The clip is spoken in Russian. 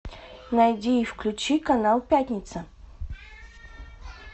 найди и включи канал пятница